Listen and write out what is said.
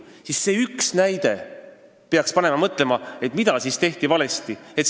Nii et see üks näide peaks panema meid mõtlema, mida siis valesti tehti.